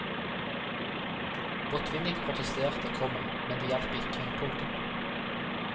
Botvinnik protesterte, komma men det hjalp ikke. punktum